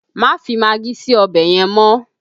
Má fi magí sí ọbẹ̀ yẹn mọ́!